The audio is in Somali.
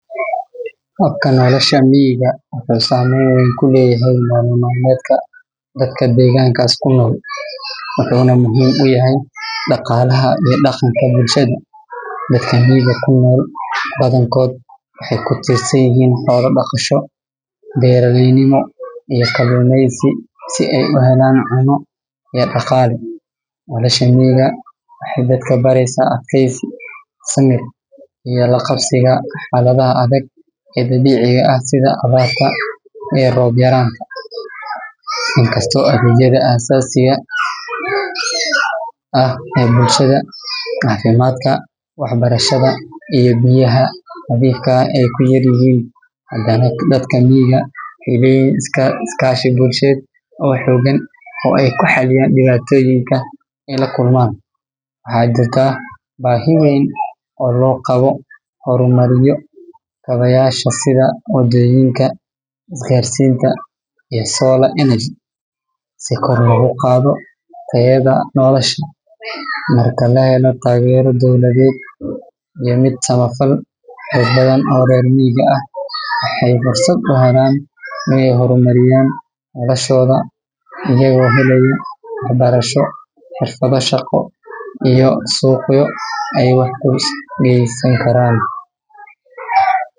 Habka nolosha miyiga wuxuu saameyn weyn ku leeyahay nolol maalmeedka dadka deegaankaas ku nool, wuxuuna muhiim u yahay dhaqaalaha iyo dhaqanka bulshada. Dadka miyiga ku nool badankood waxay ku tiirsan yihiin xoolo-dhaqasho, beeraleynimo iyo kalluumeysi si ay u helaan cunno iyo dhaqaale. Nolosha miyiga waxay dadka baraysaa adkaysi, samir iyo la qabsiga xaaladaha adag ee dabiiciga ah sida abaarta iyo roob yaraanta. Inkastoo adeegyada aasaasiga ah sida caafimaadka, waxbarashada iyo biyaha nadiifka ah ay ku yar yihiin, haddana dadka miyiga waxay leeyihiin iskaashi bulsheed oo xoogan oo ay ku xalliyaan dhibaatooyinka ay la kulmaan. Waxaa jirta baahi weyn oo loo qabo in la horumariyo kaabayaasha sida waddooyinka, isgaarsiinta, iyo solar energy si kor loogu qaado tayada nolosha. Marka la helo taageero dowladeed iyo mid samafal, dad badan oo reer miyiga ah waxay fursad u helaan inay horumariyaan noloshooda iyagoo helaya waxbarasho, xirfado shaqo, iyo suuqyo ay wax u geysankaraan.